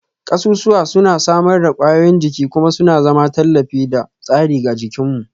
Kasusuwa suna samar da ƙwayoyin jini kuma suna zama tallafi da tsari ga jikinmu